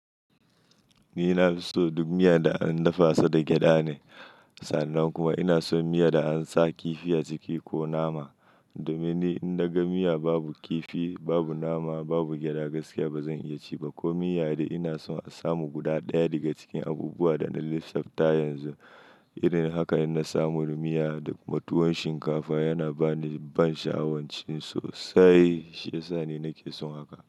Ni na fi so duk miya da an dafa ta da gyada ne. Sannan kuma ina son miya da an sa kifi a ciki ko nama. Domin ni in daga miya babu kifi, babu nama, babu gyada gaskiya ba zan iya ci ba ko miya dai ina son a samu guda ɗaya daga cikin abubuwan da na lissafta yanzu. Irin haka in na samu miya da mutuwar shinkafa yana ba ni ban sha'awar ci sosai, shi ya sa ne nake son haka.